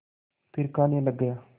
फिर खाने लग गया